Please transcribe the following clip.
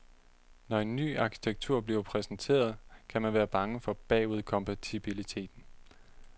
Når en ny arkitektur bliver præsenteret, kan man være bange for bagudkompatibiliteten.